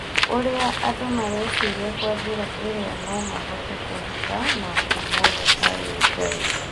ũrĩa andũ mareciria Kwa njĩra ĩrĩa no mahote kũhitha maũndu mothe harĩ Ngai